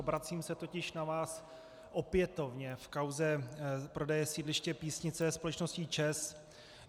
Obracím se totiž na vás opětovně v kauze prodeje sídliště Písnice společností ČEZ.